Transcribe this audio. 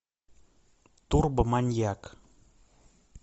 турбо маньяк